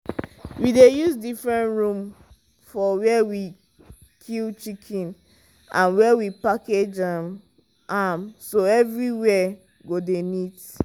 we dey use different room for where we kill chicken and where we package um am so everywhere go dey neat.